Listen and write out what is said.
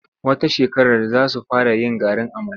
Wata shekarar za su fara yin garin amala.